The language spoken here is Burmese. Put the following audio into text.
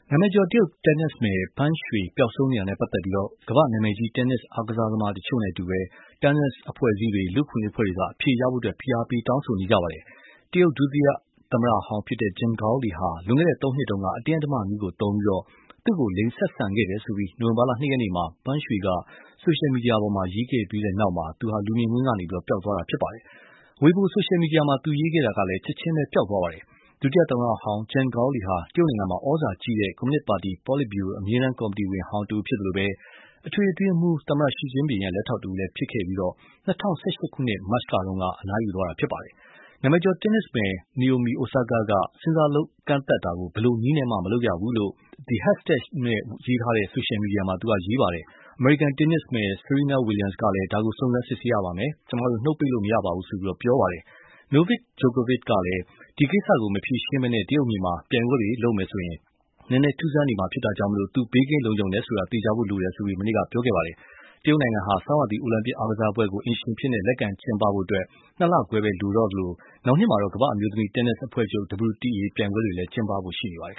နာမည်ကျော် တရုတ်တင်းနစ်မယ် Peng Shuai ပျောက်ဆုံးနေတာနဲ့ ပတ်သက်ပြီး ကမ္ဘာ့နာမည်ကြီး တင်းနစ်အားကစားသမားတချို့နဲ့အတူ တင်းနစ်အဖွဲ့အစည်းတွေ၊ လူ့အခွင့်အရေး အဖွဲ့တွေက အဖြေရဖို့ ဖိအားပေး တောင်းဆိုနေကြပါတယ်။ တရုတ် ဒုဝန်ကြီးချုပ်ဟောင်း Zhang Gaoli ဟာ လွန်ခဲ့တဲ့သုံးနှစ်က အတင်းအဓမ္မနည်းသုံးပြီး သူ့ကို လိင်ဆက်ဆံခဲ့တယ်လို့ နိုဝင်ဘာလ ၂ ရက်နေ့မှာ Peng Shuai က ဆိုရှယ်မီဒီယာပေါ်မှာ ရေးခဲ့ပြီးတဲ့နောက် လူမြင်ကွင်းကနေ ပျောက်သွားတာပါ။ Weibo ဆိုရှယ်မီဒီယာမှာ သူရေးခဲ့တာကလည်း ချက်ချင်းပဲ ပျောက်သွားပါတယ်။ ဒုဝန်ကြီးချုပ်ဟောင်း Gaoli ဟာ တရုတ်နိုင်ငံမှာ သြဇာကြီးလှတဲ့ ကွန်မြူနစ်ပါတီ ပေါ်လစ်ဗျူရို အမြဲတမ်းကော်မတီဝင်ဟောင်းတဦး ဖြစ်သလို အထွေထွေအတွင်းရေးမှူး သမ္မတ Xi Jinping ရဲ့ လက်ထောက်တဦးလည်း ဖြစ်ခဲ့ပြီး ၂၀၁၈ ခုနှစ် မတ်လက အငြိမ်းစားယူသွားတာပါ။ နာမည်ကျော်တင်းနစ်မယ် Naomi Osaka က ဆင်ဆာလုပ် ကန့်သတ်တာကို ဘယ်လိုနည်းမျိုးနဲ့မှ မလုပ်ရပါဘူးလို့ #WhereIsPengShuai ဆိုတဲ့ hashtag နဲ့ ဆိုရှယ်မီဒီယာမှာ ရေးခဲ့ပါတယ်။ အမေရိကန်တင်းနစ်မယ် Serena Williams က ဒါကို စုံစမ်းစစ်ဆေးရပါမယ်၊ ကျမတို့ နှုတ်ပိတ်နေလို့ မရပါဘူးလို့ ပြောပါတယ်။ Novak Djokovic ကလည်း ဒီကိစ္စကို မဖြေရှင်းဘဲ တရုတ်မြေမှာ ပြိုင်ပွဲတွေလုပ်မယ်ဆိုရင် နည်းနည်း ထူးဆန်းနေမှာ ဖြစ်တာကြောင့် သူ ဘေးကင်းလုံခြုံတယ်ဆိုတာ သေချာဖို့လိုပါတယ်လို့ မနေ့က ပြောခဲ့ပါတယ်။ တရုတ်နိုင်ငံဟာ ဆောင်းရာသီ အိုလံပစ်အားကစားပွဲကို အိမ်ရှင်အဖြစ် လက်ခံကျင်းပဖို့ ၂ လခွဲပဲ လိုတော့သလို နောက်နှစ်မှာ ကမ္ဘာ့အမျိုးသမီး တင်းနစ်အဖွဲ့ချုပ် (WTA) ပြိုင်ပွဲတွေလည်း ကျင်းပဖို့ရှိပါတယ်။